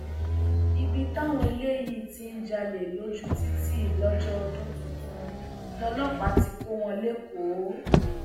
ibi táwọn eléyìí ti ń jalè lójú títì lọjọ ọdún tuntun lọlọpàá ti kọ wọn lẹkọọ